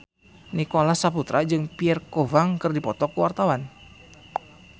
Nicholas Saputra jeung Pierre Coffin keur dipoto ku wartawan